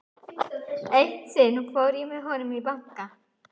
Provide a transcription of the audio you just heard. Eitt sinn fór ég með honum í banka.